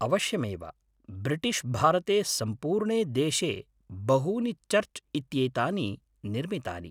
अवश्यमेव। ब्रिटिश् भारते सम्पूर्णे देशे बहूनि चर्च् इत्येतानि निर्मितानि।